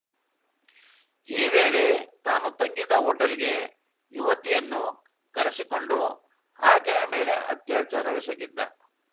ಈ ವೇಳೆ ತಾನು ತಂಗಿದ್ದ ಹೋಟೆಲ್‌ಗೆ ಯುವತಿಯನ್ನು ಕರೆಸಿಕೊಂಡು ಆಕೆಯ ಮೇಲೆ ಅತ್ಯಾಚಾರವೆಸಗಿದ್ದ